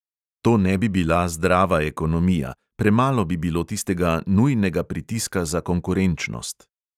To ne bi bila zdrava ekonomija, premalo bi bilo tistega nujnega pritiska za konkurenčnost.